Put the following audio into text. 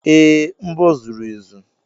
Ee, mbọ zuru ezu.